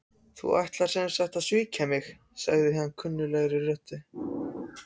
Þú ætlar sem sagt að svíkja mig- sagði kunnugleg rödd.